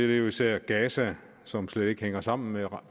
jo især gaza som slet ikke hænger sammen med